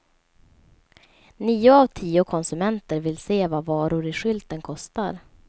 Nio av tio konsumenter vill se vad varor i skylten kostar.